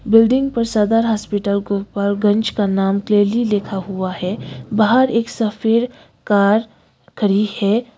Building पर Sadar hospital Gopalganj का नाम क्लियरली लिखा हुआ है बाहर एक सफेद कार करी है।